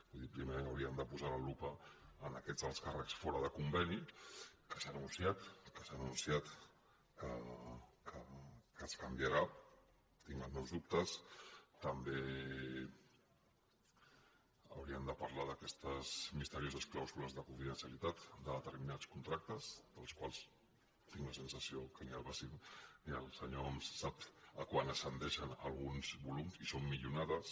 vull dir primer hauríem de posar la lupa en aquests alts càrrecs fora de conveni que s’ha anunciat que es canviarà tinc els meus dubtes també hauríem de parlar d’aquestes misterioses clàusules de confidencialitat de determinats contractes dels quals tinc la sensació que ni el senyor homs sap a quant ascendeixen alguns volums i són milionades